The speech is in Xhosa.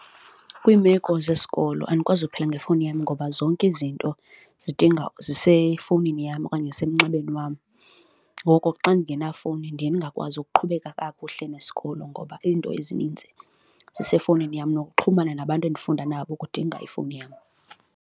Kwiimeko zesikolo andikwazi ukuphila ngefowuni yam ngoba zonke izinto zidinga, zisefowunini yam okanye zisemnxebeni wam. Ngoko xa ndingenayo ifowuni, ndiye ndingakwazi ukuqhubeka kakuhle nesikolo ngoba iinto ezininzi ezisefowunini yam, nokuxhumana nabantu endifunda nabo ukudinga ifowuni yam.